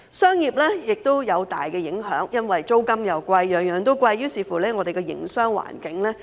商業方面亦大受影響，因為租金貴，每樣東西都貴，於是影響了香港的營商環境。